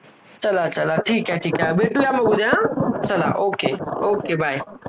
चला, चला ठीक आहे, ठीक आहे भेटूया उद्या चला okay okay bye